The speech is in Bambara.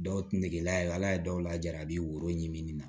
Dɔw negela y'a ye ala ye dɔw laja a bi woro ɲimi na